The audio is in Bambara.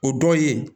O dɔw ye